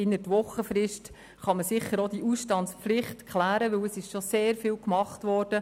Innert Wochenfrist kann man so eine Ausstandspflicht sicher abklären, weil schon sehr viel getan wurde.